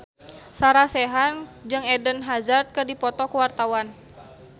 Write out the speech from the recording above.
Sarah Sechan jeung Eden Hazard keur dipoto ku wartawan